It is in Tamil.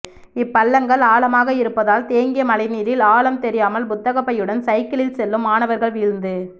இப்பள்ளங்கள்ஆழமாக இருப்பதால் தேங்கிய மழைநீரில் ஆழம் தெரியாமல் புத்தகப்பையுடன் சைக்கிளில் செல்லும் மாணவா்கள் விழுந்து